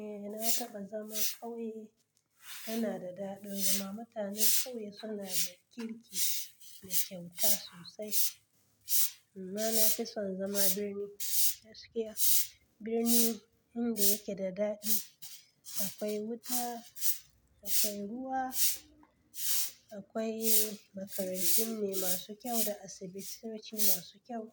Eh na taɓa zama ƙauye yana da daɗi zama mutanen ƙauye suna da kirki da kyauta sosai. Amma na fi son zama birni gaskiya. Birni inda yake da daɗi, akwai wuta, akwai ruwa, akwai makarantu ne masu kyau da asibitoci masu kyau.